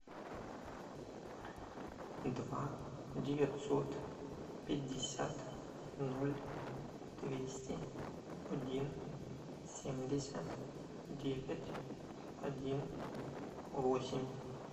два девятьсот пятьдесят ноль двести один семьдесят девять один восемь